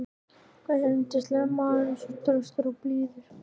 hversu yndislegur maður, svo traustur, svo blíður.